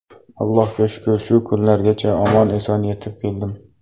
Allohga shukr, shu kunlargacha omon-eson yetib keldim.